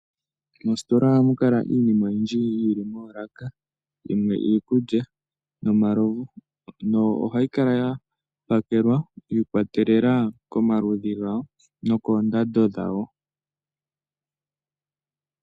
Mositola ohamukala yili moolaka, yimwe iikulya nomalovu. No ohayi kala yapakelwa shiikolelela komaludhi gawo nokoondando dhawo.